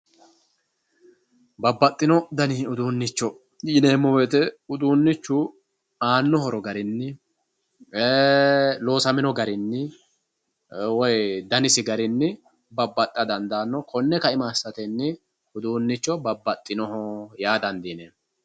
babbaxino dani uduunicho yineemo woyiite uduunichu aanno horo garinni loosamino garinni woy danisi garinni babbaxa dandaano konne ka"ima assattenni udunnicho babbaxinoho yaa dandiineemo